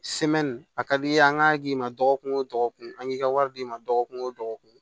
a ka d'i ye an ka k'i ma dɔgɔkun o dɔgɔkun an k'i ka wari d'i ma dɔgɔkun o dɔgɔkun